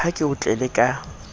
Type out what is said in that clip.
ha ke o tlele ka